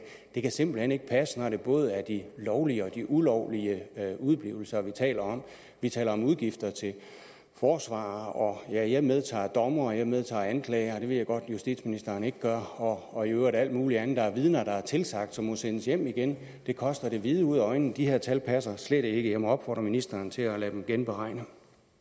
det kan simpelt hen ikke passe når det både er de lovlige og de ulovlige udeblivelser vi taler om vi taler om udgifter til forsvarere og jeg jeg medtager dommere og jeg medtager anklagere det ved jeg godt at justitsministeren ikke gør og i øvrigt alt muligt andet der er vidner der er tilsagt og som må sendes hjem igen og det koster det hvide ud af øjnene de her tal passer slet ikke jeg må opfordre ministeren til at lade dem genberegne